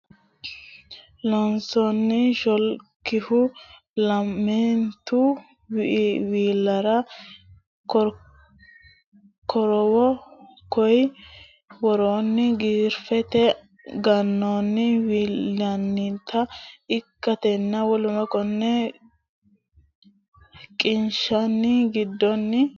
Loossinanni Shoolkihu lamente wilara korowo konni woroonni giraafete gannanni wi linannita ikkatenna w k l qiniishshi giddonna qiniishshu gobbaanni xaadooshshensaati Loossinanni.